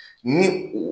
Ni u